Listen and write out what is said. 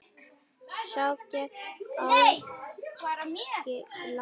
Sá gegn ágangi landið ver.